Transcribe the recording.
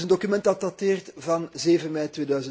Het is een document dat dateert van 7 mei